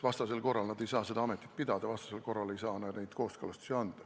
Vastasel korral nad ei saa seda ametit pidada, vastasel korral ei saa nad neid kooskõlastusi anda.